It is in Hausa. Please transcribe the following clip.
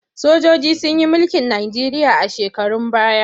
Sojoji sun yi mulkin Najeriya a shekarun baya.